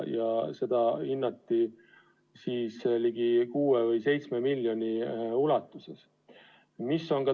Ja selle suuruseks hinnati 6 või ligi 7 miljonit.